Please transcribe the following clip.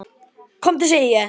KOMDU SEGI ÉG!